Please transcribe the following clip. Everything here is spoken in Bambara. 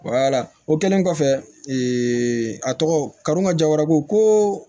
o kɛlen kɔfɛ a tɔgɔ karon ka jaw ko